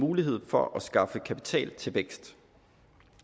muligheder for at skaffe kapital til vækst